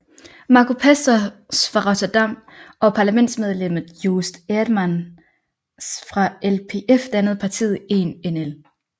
Marco Pastors fra Rotterdam og parlamentsmedlemmet Joost Eerdmans fra LPF dannede partiet Eén NL